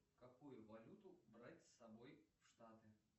какую валюту брать с собой в штаты